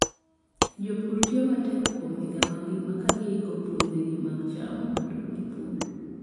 Jopur tiyo matek kuom higa mangima ka giiko puothegi mag cham mondo gipur.